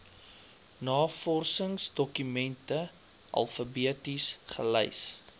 navorsingsdokumente alfabeties gelys